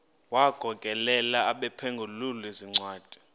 wagokelela abaphengululi zincwadi